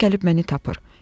İzot gəlib məni tapır.